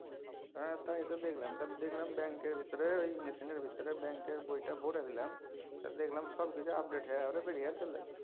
হ্যা তাই তো দেখলাম। ব্যাঙ্কের ভিতরে ঐ machine এর ভিতরে ব্যাঙ্কের বইটা ভরে দিলাম আর দেখলাম সবকিছু update হয়ে আরে বেড়িয়ে চলে এলো।